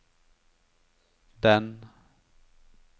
den